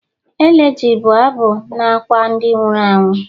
Elegy bụ abụ na-akwa ndị nwụrụ anwụ